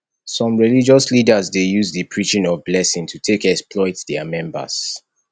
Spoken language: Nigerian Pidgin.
some religious leaders dey use di preaching of blessing to take exploit their members